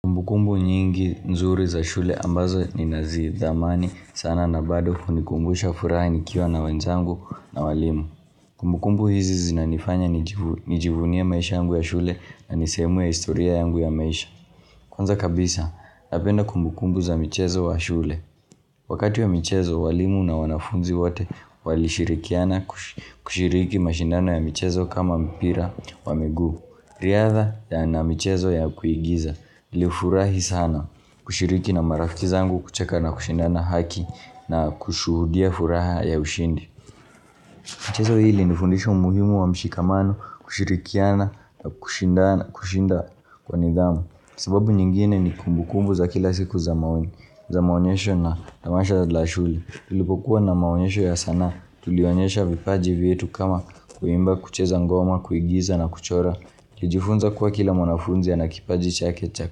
Kumbukumbu nyingi nzuri za shule ambazo ni nazi dhamani sana na bado kunikumbusha furaha nikiwa na wenzangu na walimu. Kumbukumbu hizi zinanifanya nijivunie maisha yangu ya shule na nisehemu ya historia yangu ya maisha. Kwanza kabisa, napenda kumbukumbu za michezo wa shule. Wakati ya michezo, walimu na wanafunzi wate walishirikiana kushiriki mashindano ya michezo kama mpira wa miguu. Riadha na michezo ya kuigiza li ufurahi sana kushiriki na marafiki zangu kucheka na kushindana haki na kushuhudia furaha ya ushindi. Michezo hili ni fundisha umuhimu wa mshikamano kushirikiana na kushinda kwa nidhamu. Sababu nyingine ni kumbu kumbu za kila siku za maonyesho na tamasha za la shule. Tulipokuwa na maonyesho ya sana tulionyesha vipaji vyetu kama kuimba kucheza ngoma, kuigiza na kuchora. Lijifunza kuwa kila mwanafunzi ya nakipaji chakecha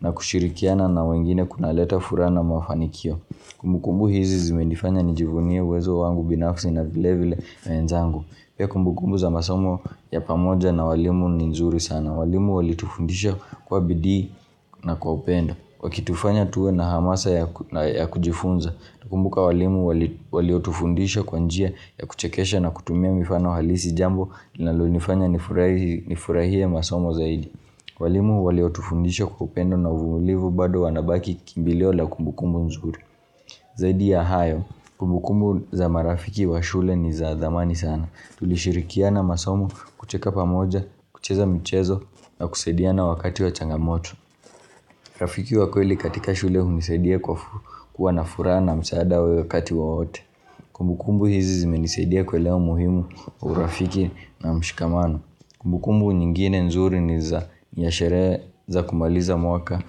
na kushirikiana na wengine kuna leta furana mwafanikio Kumbukumbu hizi zime nifanya nijifunye wezo wangu binafsi na vilevile menzangu Pia kumbukumbu za masomo ya pamoja na walimu ni nzuri sana walimu walitufundisha kwa bidi na kwa upendo Wakitufanya tuwe na hamasa ya kujifunza kumbuka walimu waliotufundisha kwanjia ya kuchekesha na kutumia mifano halisi jambo liNalonifanya nifurahie masomo zaidi walimu waliotufundisha kwa upendo na uvulivu bado wanabaki kimbiliola kumbukumbu nzuri Zaidi ya hayo Kumbukumbu za marafiki wa shule ni za thamani sana Tulishirikia na masomo kucheka pamoja kucheza mchezo na kusadia na wakati wa changamoto Rafiki wa kweli katika shule hunisedia kwa nafura na msaada wakati waote Kumbukumbu hizi zime nisedia kuelewa umuhimu urafiki na mshikamano Kumbukumbu nyingine nzuri ni ya shereza kumaliza mwaka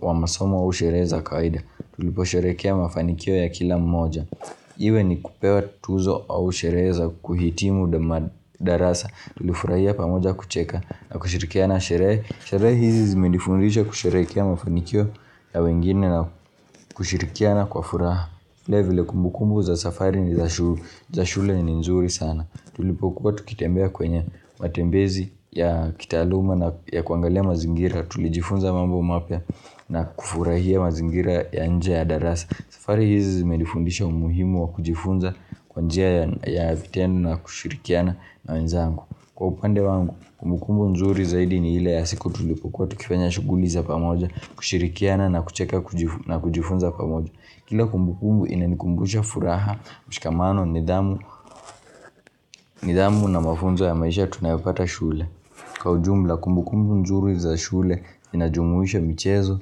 wa masomo au shereza kaida Tulipo sherekea mafanikio ya kila mmoja Iwe ni kupewa tuzo au shereza kuhitimu darasa Tulifurahia pamoja kucheka na kushirikia na shere Sherezi zimedifundisha kusherekea mafanikio ya wengine na kushirikia na kwa furaha vile vile kumbukumbu za safari ni za shule ni nzuri sana Tulipokua tukitembea kwenye matembezi ya kitaluma na kuangalia mazingira Tulijifunza mambo mapya na kufurahia mazingira ya nje ya darasa safari hizi zimedifundisha umuhimu wa kujifunza kwanjia ya vitendo na kushirikiana na wenzangu Kwa upande wangu kumbukumbu nzuri zaidi ni hile ya siku tulipukua Tukifanya shuguliza pamoja kushirikiana na kucheka na kujifunza pamoja Kila kumbukumbu ina nikumbusha furaha mshikamano nidhamu na mafunzo ya maisha tunayopata shule Kwa ujumla, kumbukumbu nzuri za shule inajumuisha michezo,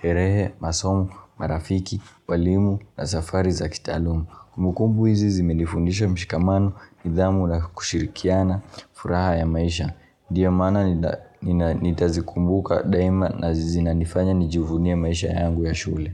sherehe, masomo, marafiki, walimu na safari za kitalumu. Kumbukumbu izizi menifundisha mshikamano, nidhamu na kushirikiana, furaha ya maisha. Niyo mana nita zikumbuka daima na zizi na nifanya nijivunia maisha yangu ya shule.